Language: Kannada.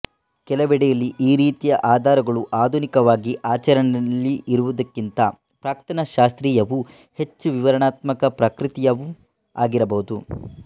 ಕೆಲವೆಡೆಯಲ್ಲಿ ಈ ರೀತಿಯ ಆಧಾರಗಳು ಆಧುನಿಕವಾಗಿ ಆಚರಣೆಯಲ್ಲಿರುವುದಕ್ಕಿಂತ ಪ್ರಾಕ್ತನಶಾಸ್ತ್ರೀಯವೂ ಹೆಚ್ಚು ವಿವರಣಾತ್ಮಕ ಪ್ರಕೃತಿಯವೂ ಆಗಿರಬಹುದು